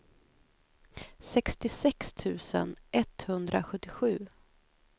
sextiosex tusen etthundrasjuttiosju